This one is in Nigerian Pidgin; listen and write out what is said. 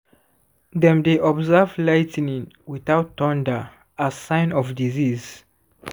dem dey observe lightning without thunder as sign of disease.